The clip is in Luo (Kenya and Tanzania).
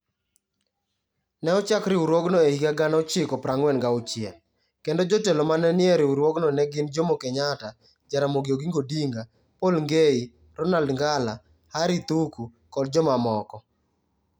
Ne ochak riwruogno e higa 1946, kendo jotelo ma ne ni e riwruogno ne gin Jomo Kenyatta, Jaramogi Oginga Odinga, Paul Ngei, Ronald Ngala, Harry Thuku, kod jomamoko.